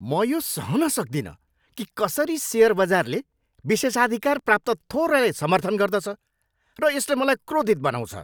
म यो सहन सक्दिनँ कि कसरी सेयर बजारले विशेषाधिकार प्राप्त थोरैलाई समर्थन गर्दछ र यसले मलाई क्रोधित बनाउँछ।